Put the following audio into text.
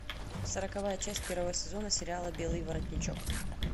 сороковая часть первого сезона сериала белый воротничок